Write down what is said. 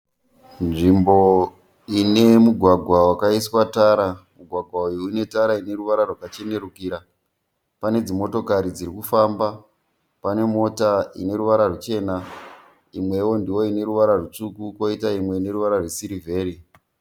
Nzvimbo ine mugwagwa wakaiswa tara. Mugwagwa uyu une tara ine ruvara rwakachenerukira. Pane dzimotokari dziri kufamba. Pane mota ine ruvara ruchena imwewo ndiyo ine ruvara rutsvuku kwoita imwe ine ruvara rwesirivheri.